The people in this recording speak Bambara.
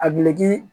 A